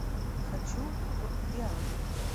хочу в виагру